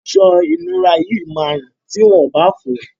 Aṣọ ìnura yìí máa rùn ti wọ́n ò bá fọ̀ọ́.